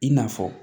I n'a fɔ